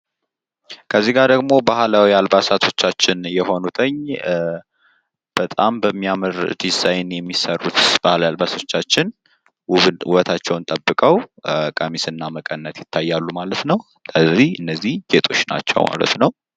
ከዚጋ ደሞ ባህላዊ አልባሳቶቻችን የሆኑትን በጣም በሚያምር ዲዛይን የሚሰሩት ባህላዊ አልባሶቻችን ውበታቸውን ጠብቀው ቀሚስ እና መቀነት ይታያል ማለት ነው። ስለዚህ እነዚ ጌጦች ናቸው።